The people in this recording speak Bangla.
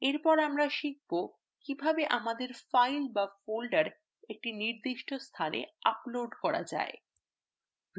এরপর আমরা শিখব কিভাবে আমাদের files বা folder একটি নির্দিষ্ট স্থানে upload করা যায়